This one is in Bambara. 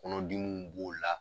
Kɔnɔdimi b'o la